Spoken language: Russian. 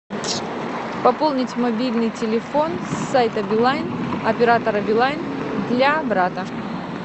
пополнить мобильный телефон с сайта билайн оператора билайн для брата